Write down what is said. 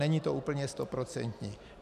Není to úplně stoprocentní.